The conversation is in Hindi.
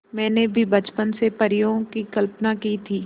मैंने भी बचपन से परियों की कल्पना की थी